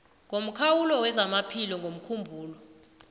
ngomkhawulo wezamaphilo womkhumbulo